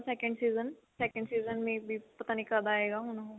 ਉਹਦਾ second season second season may be ਪਤਾ ਨੀ ਕਦ ਆਏਗਾ ਹੁਣ ਉਹ